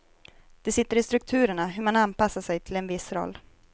Det sitter i strukturerna, hur man anpassar sig till en viss roll.